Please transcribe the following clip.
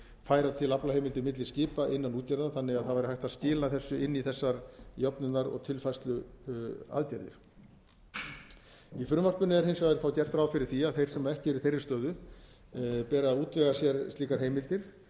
færa til aflaheimildir milli skipa innan útgerða þannig að það væri hægt að skila þessu inn í þessar jöfnunar og tilfærsluaðgerðir í frumvarpinu er hins vegar gert ráð fyrir að þeir sem ekki eru í þeirri stöðu beri að útvega sér slíkar heimildir